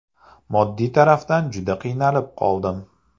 Moddiy tarafdan juda qiynalib qoldim.